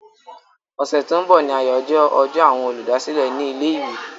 Ọ̀sẹ̀ tó ń bọ̀ ni àyájọ́ ọjọ́ àwọn olùdásílẹ̀ ní ilé-ìwé.